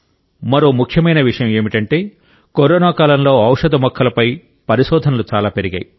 మరో ముఖ్యమైన విషయం ఏమిటంటే కరోనా కాలంలో ఔషధ మొక్కలపై పరిశోధనలు చాలా పెరిగాయి